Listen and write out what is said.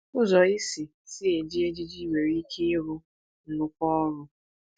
Ụzọ ị si si eji ejiji nwere ike ịrụ nnukwu ọrụ.